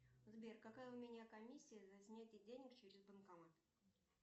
сбер какая у меня комиссия за снятие денег через банкомат